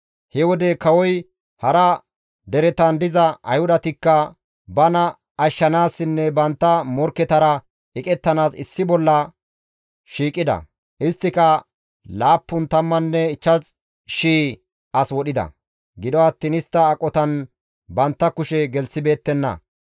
He wode kawoy hara deretan diza Ayhudatikka bana ashshanaasinne bantta morkketara eqettanaas issi bolla shiiqida. Isttika 75,000 as wodhida; gido attiin istta aqotan bantta kushe gelththibeettenna.